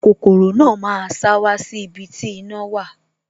Kokoro náà máa sá wá sí ibi tí iná wà